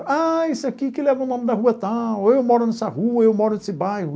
Ah, isso aqui que leva o nome da rua tal, eu moro nessa rua, eu moro nesse bairro.